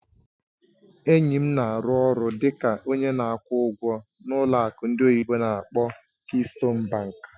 Enyi m na-arụ ọrụ dị ka onye na-akwụ ụgwọ n'ụlọ akụ ndị oyibo n'akpọ "Keystone Bank".